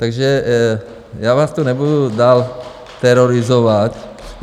Takže já vás tu nebudu dál terorizovat.